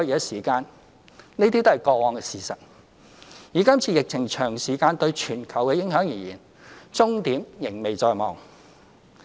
這些都是過往的事實，以今次疫情長時間對全球的影響而言，終點仍未在望。